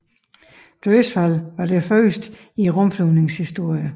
Dødsfaldet var det første i rumflyvningens historie